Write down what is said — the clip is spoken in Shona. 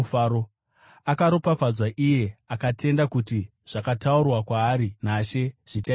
Akaropafadzwa iye akatenda kuti zvakataurwa kwaari naShe zvichaitika!”